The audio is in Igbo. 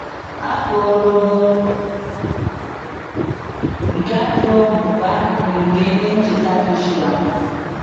Afọ ogologo nke ajọ ohu bụ akụkụ nke ihe ncheta Joshua.